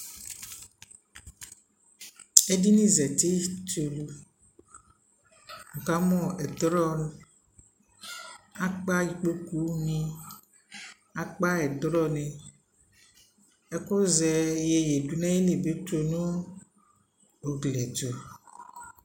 ɛdinI zati tʋlʋ, ni ka mʋ ɛtrɔ, akpa ikpɔkʋ ni, akpa ɛtrɔ ni, ɛkʋ zɛ yɛyɛ dʋnʋ ayili bi tʋ nʋ ʋgliɛ tʋ